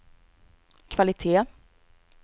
kvalitet